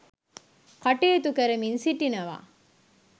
කටයුතු කරමින් සිටිනවා.